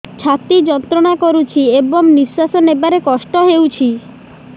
ଛାତି ଯନ୍ତ୍ରଣା କରୁଛି ଏବଂ ନିଶ୍ୱାସ ନେବାରେ କଷ୍ଟ ହେଉଛି